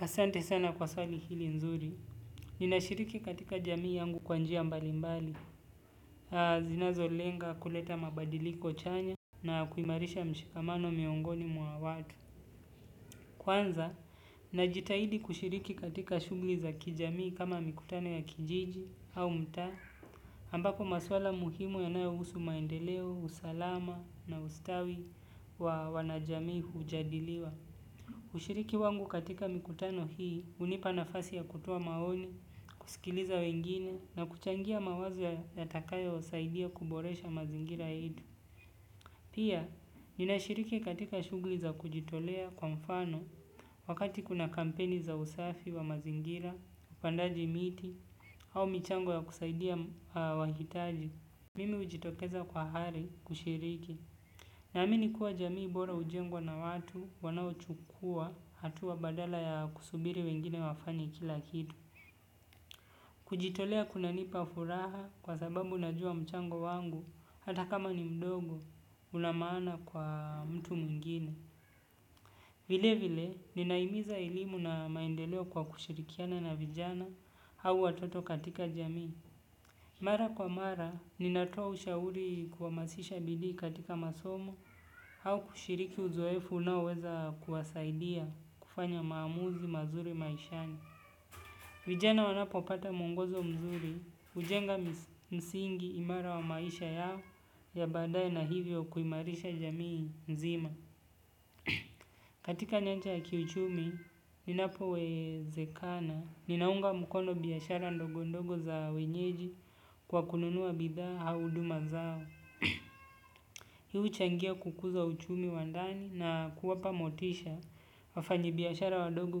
Asante sana kwa swali hili nzuri, ninashiriki katika jamii yangu kwa njia mbali mbali, zinazolenga kuleta mabadiliko chanya na kuimarisha mshikamano miongoni mwa watu. Kwanza, najitahidi kushiriki katika shugli za kijamii kama mikutano ya kijiji au mtaa, ambapo maswala muhimu ya nayo husu maendeleo, usalama na ustawi wa wanajamii hujadiliwa. Ushiriki wangu katika mikutano hii hunipa nafasi ya kutoa maoni kusikiliza wengine na kuchangia mawazo yatakayosaidia kuboresha mazingira yetu. Pia, nina shiriki katika shugli za kujitolea kwa mfano wakati kuna kampeni za usafi wa mazingira, upandaji miti au michango ya kusaidia wahitaji. Mimi hujitokeza kwa ari kushiriki. Naamini kuwa jamii bora hujengwa na watu wanao chukua hatua badala ya kusubiri wengine wafanye kila kitu. Kujitolea kuna nipa furaha kwa sababu najua mchango wangu hata kama ni mdogo una maana kwa mtu mwingine. Vile vile ninahimiza elimu na maendeleo kwa kushirikiana na vijana au watoto katika jamii. Mara kwa mara, ninatoa ushauri kuhamasisha bidii katika masomo, au kushiriki uzoefu unaoweza kuwasaidia kufanya maamuzi mazuri maishani. Vijana wanapopata mwongozo mzuri, hujenga msingi imara wa maisha yao ya badaye na hivyo kuimarisha jamii nzima. Katika nyancha ya kiuchumi ninapowezekana ninaunga mkono biashara ndogo ndogo za wenyeji kwa kununua bidha au huduma zao. Hii huchangia kukuza uchumi wa ndani na kuwapa motisha wafanyi biashara wadogo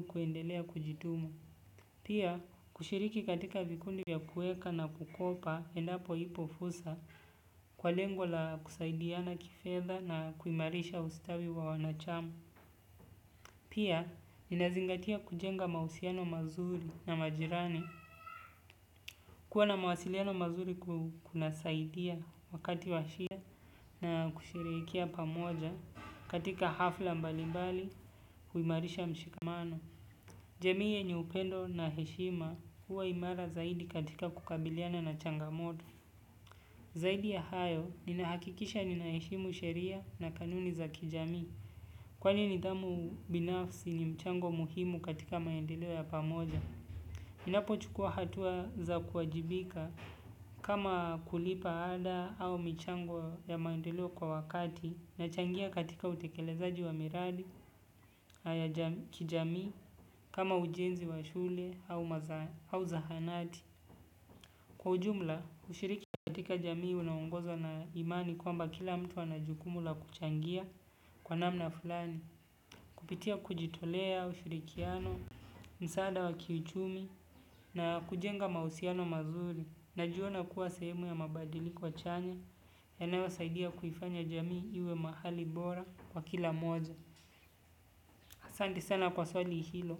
kuendelea kujituma. Pia kushiriki katika vikundi ya kuweka na kukopa endapo ipo fursa kwa lengo la kusaidiana kifedha na kuimarisha ustawi wa wanachama. Pia, ninazingatia kujenga mahusiano mazuri na majirani. Kuwa na mawasiliano mazuri kuna saidia wakati wa shida na kusherekea pamoja katika hafla mbali mbali kuimarisha mshikamano. Jamii yenye upendo na heshima huwa imara zaidi katika kukabiliana na changamoto. Zaidi ya hayo, ninahakikisha ninaheshimu sheria na kanuni za kijami. Kwani nidhamu binafsi ni mchango muhimu katika maendeleo ya pamoja ninapochukua hatua za kuwajibika kama kulipa ada au michango ya maendeleo kwa wakati na changia katika utekelezaji wa miradi, kijamii, kama ujenzi wa shule au zahanati. Kwa ujumla, ushiriki katika jamii unaongozwa na imani kwamba kila mtu ana jukumu la kuchangia kwa namna fulani. Kupitia kujitolea, ushurikiano, msaada wa kiuchumi na kujenga mahusiano mazuri. Najiona kuwa sehemu ya mabadiliko chanya. Yanayo saidia kuifanya jamii iwe mahali bora kwa kila moja. Asante sana kwa swali hilo.